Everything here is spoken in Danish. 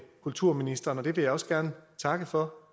kulturministeren og det vil jeg også gerne takke for